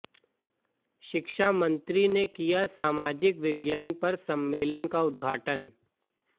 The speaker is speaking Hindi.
शिक्षा मंत्री ने किया सामाजिक विज्ञान पर सम्मेलन का उद्घाटन